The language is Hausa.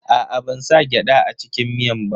Aa, ban sa gyada a cikin miyan ba.